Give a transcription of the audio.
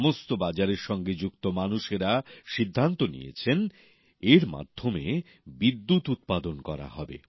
সমস্ত বাজারের সঙ্গে যুক্ত মানুষেরা সিদ্ধান্ত নিয়েছেন এর মাধ্যমে বিদ্যুৎ উৎপাদন করা হবে